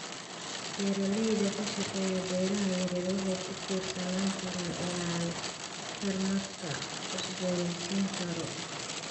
Beeralayda ka shaqeeya beeraha yaryar waxay ku tiirsanaan karaan ilaha tamarta la cusboonaysiin karo.